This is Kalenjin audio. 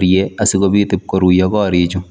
chherutoos chekikwerii langat